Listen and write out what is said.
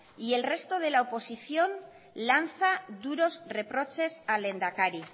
y el resto de la oposición lanza duros reproches al lehendakari